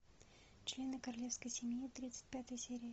члены королевской семьи тридцать пятая серия